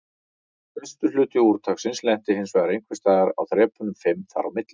Stærstur hluti úrtaksins lenti hinsvegar einhvers staðar á þrepunum fimm þar á milli.